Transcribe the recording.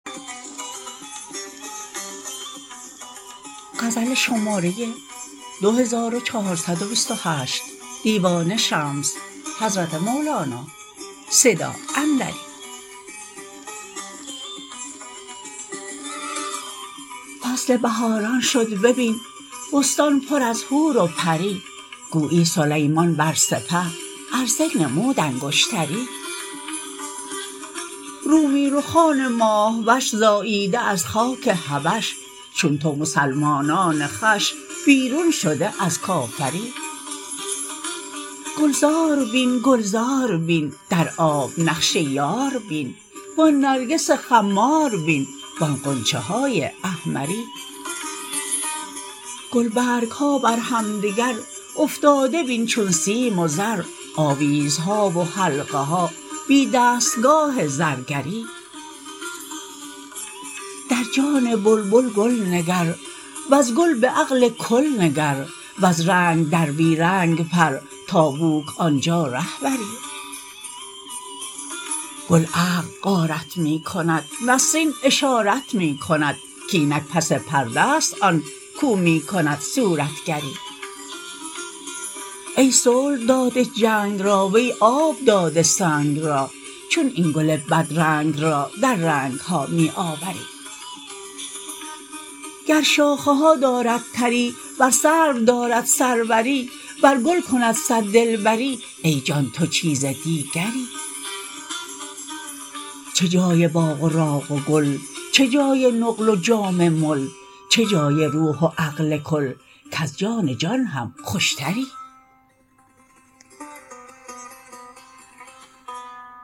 فصل بهاران شد ببین بستان پر از حور و پری گویی سلیمان بر سپه عرضه نمود انگشتری رومی رخان ماه وش زاییده از خاک حبش چون نومسلمانان خوش بیرون شده از کافری گلزار بین گلزار بین در آب نقش یار بین و آن نرگس خمار بین و آن غنچه های احمری گلبرگ ها بر همدگر افتاده بین چون سیم و زر آویزها و حلقه ها بی دستگاه زرگری در جان بلبل گل نگر وز گل به عقل کل نگر وز رنگ در بی رنگ پر تا بوک آن جا ره بری گل عقل غارت می کند نسرین اشارت می کند کاینک پس پرده است آن کاو می کند صورتگری ای صلح داده جنگ را وی آب داده سنگ را چون این گل بدرنگ را در رنگ ها می آوری گر شاخه ها دارد تری ور سرو دارد سروری ور گل کند صد دلبری ای جان تو چیزی دیگری چه جای باغ و راغ و گل چه جای نقل و جام مل چه جای روح و عقل کل کز جان جان هم خوشتری